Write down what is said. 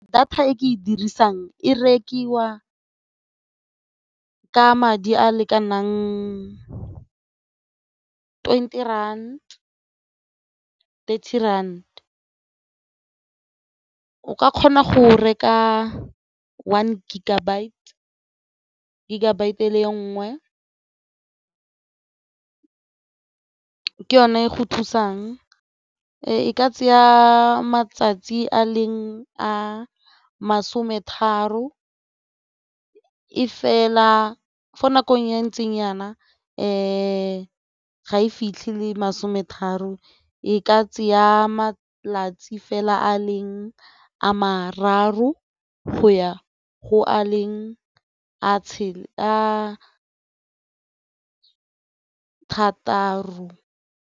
Data e ke e dirisang e rekiwa ka madi a a lekanang twenty rand, thirty rand. O ka kgona go reka one gigabyte, gigabyte e le nngwe ka yone go thusang e ka tseya matsatsi a leng a masome tharo e fela mo nakong ya ntseng nyana ga e fitlhile masome tharo e ka tsaya malatsi fela a leng a mararo go ya go a leng a thataro.